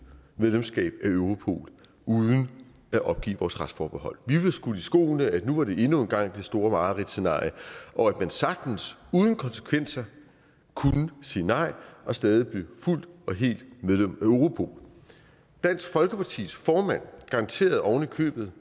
medlemskab af europol uden at opgive vores retsforbehold vi blev skudt i skoene at nu var det endnu en gang det store mareridtscenarie og at man sagtens uden konsekvenser kunne sige nej og stadig blive fuldt og helt medlem af europol dansk folkepartis formand garanterede ovenikøbet